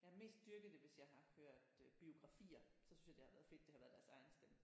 Jeg har mest dyrket det hvis jeg har hørt øh biografier så synes jeg det har været fedt at det har været deres egen stemme